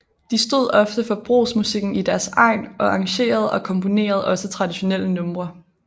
De stod ofte for brugsmusikken i deres egn og arrangerede og komponerede også traditionelle numre